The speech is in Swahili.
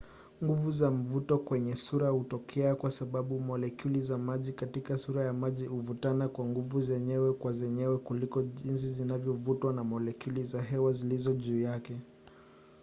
nguvu za mvuto kwenye sura hutokea kwa sababu molekyuli za maji katika sura ya maji huvutana kwa nguvu zenyewe kwa zenyewe kuliko jinsi zinavyovutwa na molekyuli za hewa zilizo juu yake